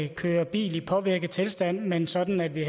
kører bil i påvirket tilstand men sådan at vi